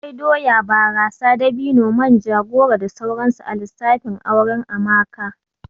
Akwai doya, barasa, dabino, manja, goro da sauransu a lissafin auren Amaka